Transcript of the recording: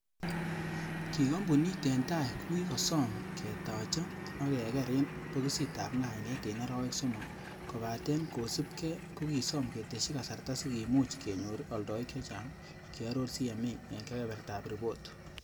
Ki kompunit en tai kokikosoom, ketacha ak keger en bokisitab ngainet en arawek somok, kobaten kosibige kokisom ketesyi kasarta sikimuch kenyor oldoik chechang,''kioror CMA en kebebertab ripot.